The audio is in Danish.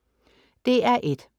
DR1: